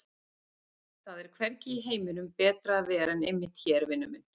Það er hvergi í heiminum betra að vera en einmitt hér, vinur minn!